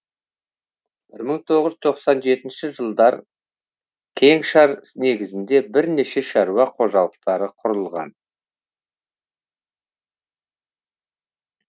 бір мың тоғыз жүз тоқсан жетінші жылдар кеңшар негізінде бірнеше шаруа қожалықтары құрылған